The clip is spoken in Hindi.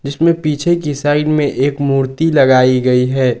इसमें पीछे की साइड में एक मूर्ति लगाई गई है।